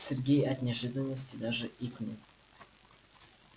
сергей от неожиданности даже икнул